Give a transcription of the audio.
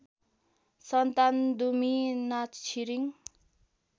सन्तान दुमी नाछिरिङ